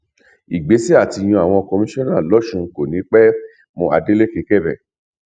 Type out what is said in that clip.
ìgbésẹ àti yan àwọn kọmíṣọnà lọsùn kò ní pẹ mọàdélékébé